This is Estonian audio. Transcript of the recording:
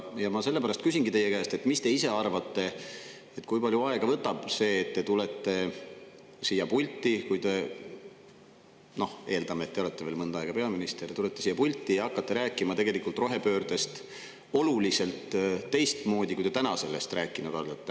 Ja ma sellepärast küsingi teie käest, et mis te ise arvate, kui palju aega võtab see, et te tulete siia pulti – eeldame, et te olete veel mõnda aega peaminister – ja hakkate rääkima rohepöördest oluliselt teistmoodi, kui te praegu sellest rääkinud olete.